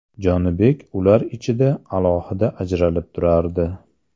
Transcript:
Jonibek ular ichida alohida ajralib turardi.